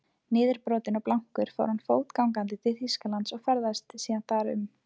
Niðurbrotinn og blankur fór hann fótgangandi til Þýskalands og ferðaðist síðan þar um.